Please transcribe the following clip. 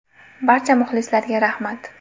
Barcha muxlislarga rahmat.